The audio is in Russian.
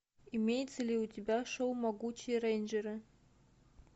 имеется ли у тебя шоу могучие рейнджеры